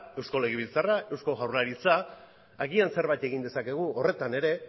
eusko legebiltzarra eusko jaurlaritza agian zerbait egin dezakegu horretan ere